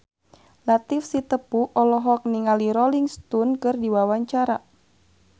Latief Sitepu olohok ningali Rolling Stone keur diwawancara